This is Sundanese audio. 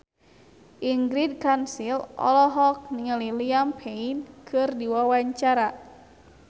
Ingrid Kansil olohok ningali Liam Payne keur diwawancara